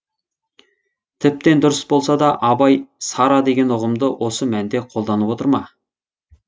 тіптен дұрыс болса да абай сара деген ұғымды осы мәнде қолданып отыр ма